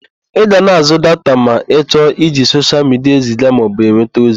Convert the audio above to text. Ị ga na-àzụ́ data ma ị chọọ iji soshial midia eziga maọbụ enweta ozi.